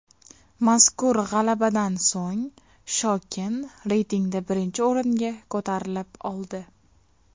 Mazkur g‘alabadan so‘ng Shokin reytingda birinchi o‘ringa ko‘tarilib oldi.